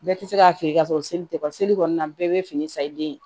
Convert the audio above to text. Bɛɛ tɛ se k'a feere ka sɔrɔ seli tɛ bɔ seli kɔni na bɛɛ bɛ fini san i den ye